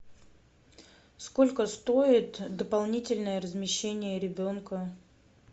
сколько стоит дополнительное размещение ребенка